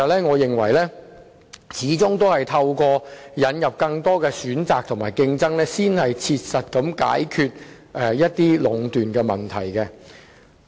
我認為始終應透過引入更多選擇和競爭，才可切實地解決壟斷的問題。